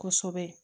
Kosɛbɛ